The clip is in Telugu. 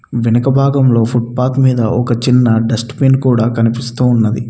వెనక భాగంలో ఫుట్పాత్ మీద ఒక చిన్న డస్ట్ బిన్ కూడా కనిపిస్తూ ఉన్నది.